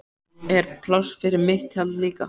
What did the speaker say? Er pláss fyrir mitt tjald líka?